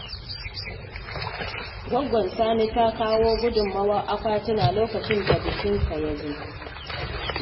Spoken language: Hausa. Goggon Sani ta kawo gudunmawar akwatuna lokacin da bikinsa ya zo.